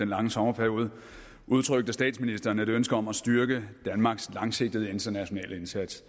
lange sommerperiode udtrykte statsministeren et ønske om at styrke danmarks langsigtede internationale indsats